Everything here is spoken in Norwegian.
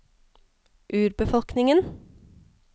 urbefolkningen